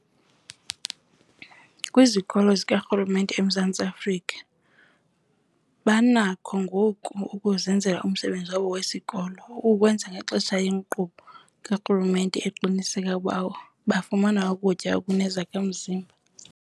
Kwizikolo zikarhulumente eMzantsi Afrika banakho ngoku ukuzenzla umsebenzi wabo wesikolo. Oku kwenzeka ngenxa yenkqubo karhulumente eqinisekisa ukuba bafumana ukutya okunezakha-mzimba.